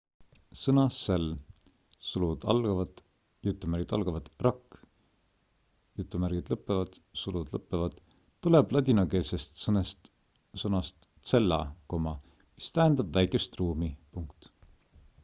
sõna cell 'rakk' tuleb ladinakeelsest sõnast cella mis tähendab väikest ruumi